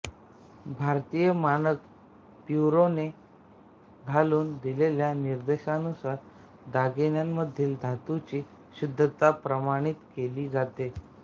भारतीय मानक ब्युरोने घालून दिलेल्या निर्देशांनुसार दागिन्यांमधील धातूची शुद्धता प्रमाणित केली जाते